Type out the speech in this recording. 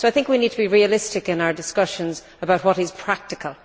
I think we need to be realistic in our discussions about what is practical.